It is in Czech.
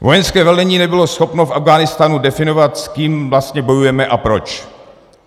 Vojenské velení nebylo schopno v Afghánistánu definovat, s kým vlastně bojujeme a proč.